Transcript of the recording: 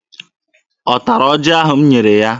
Ọ tara ọjị ahụ m nyere ya?